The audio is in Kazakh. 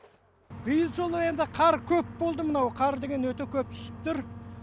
биыл жолы енді қар көп болды мынау қар деген өте көп түсіп тұр